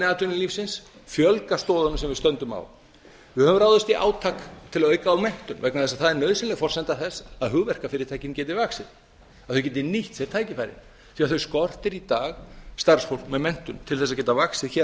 atvinnulífsins fjölga stoðunum sem við stöndum á við höfum ráðist í átak til að auka á menntun vegna þess að það er nauðsynleg forsenda þess að hugmyndafyrirtækin geti vaxið þau geti nýtt sér tækifærin því þau skortir í dag starfsfólk með menntun til að geta vaxið hér á